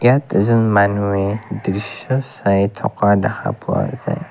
ইয়াত এজন মানুহে দৃশ্য চাই থকা দেখা পোৱা যায়।